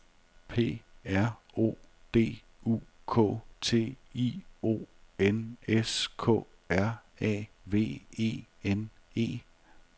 P R O D U K T I O N S K R A V E N E